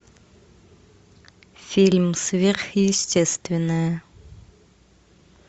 фильм сверхъестественное